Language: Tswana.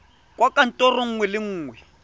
kwa kantorong nngwe le nngwe